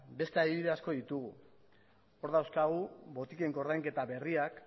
beste adibide asko ditugu hor dauzkagu botiken koordainketa berriak